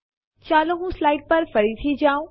ચાલો હું સ્લાઇડ્સ પર ફરીથી જાઉં